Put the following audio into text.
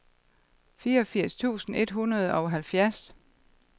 fireogfirs tusind et hundrede og halvfjerds